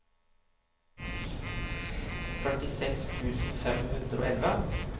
førtiseks tusen fem hundre og elleve